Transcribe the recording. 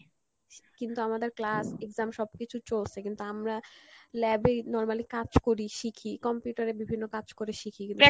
কিন্তু আমাদের class exam সব কিছু চলসে কিন্তু আমরা lab এ normally কাজ করি, শিখি computer এ বিভিন্ন কাজ করে শিখি কিন্তু